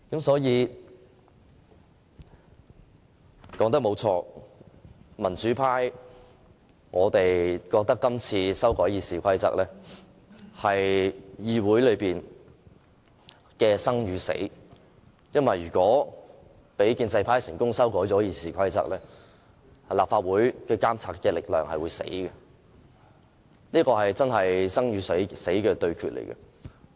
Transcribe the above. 說得對，民主派覺得這次修改《議事規則》是關乎議會的生與死，因為如果讓建制派成功修改《議事規則》，立法會的監察力量便會死亡，這的確是一場生與死的對決。